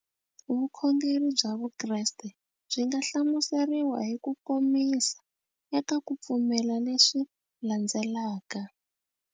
Vukhongeri bya Vukreste byi nga hlamuseriwa hi ku komisa eka ku pfumela leswi landzelaka.